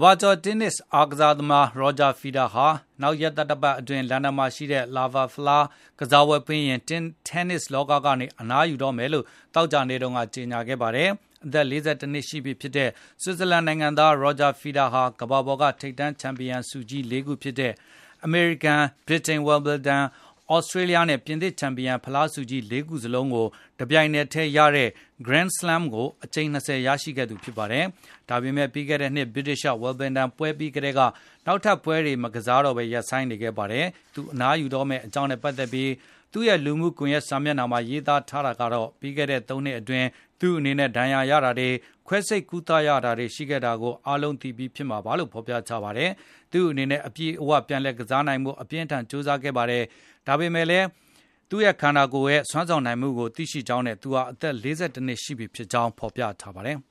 ဘာကျာ် တင်းနစ် ကစားသမား Roger Federer ဟာ နောက်ရက်သတ္တပတ်အတွင်း လန်ဒန် Laver ဖလား ကစားပွဲပြီးရင် တင်းနစ် လောက ကနေ အနားယူတော့မယ်လို့ သောကြာနေ့တုန်းက ကြေငြာလိုက်ပါတယ်။ အသက် ၄၁ နှစ်ရှိပြီဖြစ်တဲ ဆွစ်ဇာလန်နိုင်ငံသား Roger Federer ဟာ ကမ္ဘာပေါ်က ထိပ်တန်း ချန်ပီယံဆုကြီး ၄ ခုဖြစ်တဲ့ အမေရိကန်၊ ဗြိတိန် Wimbledon ၊ သြစတြေးလျားနဲ့ ပြင်သစ် ချန်ပီယံဖလား ဆုကြီး ၄ ခု စလုံးကို တပြိုင်နက်ထဲ ရတဲ့ Grand Slam ဆုကို အကြိမ် (၂၀) ရရှိခဲ့သူ ဖြစ်ပါတယ်။ ဒါပေမယ့် ပြီးခဲ့တဲ့နှစ် ဗြိတိန် Wimbledon ပွဲ ပြီးကတည်းက နောက်ထပ်ပွဲတွေ မကစားတော့ပဲ ရပ်နားနေခဲ့တာပါ။ သူ အနားယူတော့မယ့် အကြောင်းနဲ့ပတ်သက်ပြီး သူ့ရဲ့လူမှုကွန်ယက် စာမျက်နှာမှာ ရေးသားထားတာကတော့ - ပြီးခဲ့တဲ့ ၃ နှစ်အတွင်း သူ့အနေနဲ့ ဒဏ်ရာ ရတာတွေ၊ ခွဲစိပ် ကုသရတာတွေ ရှိခဲ့တာကို အားလုံးသိပြီးဖြစ်မှာပါလို့ ဖေါ်ပြထားပါတယ်။ သူ့အနေနဲ့ အပြည့်အဝ ပြန်လည် ကစားနိုင်ဖို့ အပြင်းအထန် ကြိုးစားခဲ့ပါတယ်။ ဒါပေမယ့် သူ့ရဲ့ ခန္ဓာကိုယ် စွမ်းဆောင်နိုင်တဲ့ အနေအထားကို သူသိကြောင်းနဲ့ သူဟာ အသက် ၄၁ နှစ်ရှိနေပါပြီလို့ ရေးသားဖေါ်ပြထားပါတယ်။